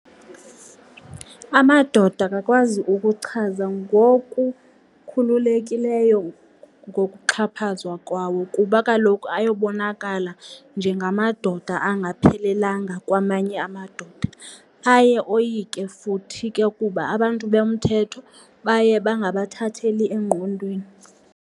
Amadoda akakwazi ukuchaza ngokukhululekileyo ngokuxhaphazwa kwawo kuba kaloku ayobonakala njengamadoda engaphelelanga kwamanye amadoda. Aye oyike futhi ke ukuba abantu bomthetho baye bangabathatheli engqondweni.